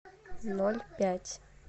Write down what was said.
ноль пять